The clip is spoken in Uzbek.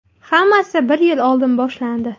Hammasi bir yil oldin boshlandi.